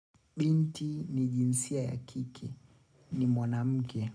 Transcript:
Binti ni jinsia ya kiki, ni mwanamke.